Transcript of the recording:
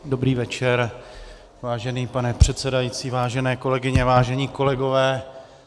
Dobrý večer, vážený pane předsedající, vážené kolegyně, vážení kolegové.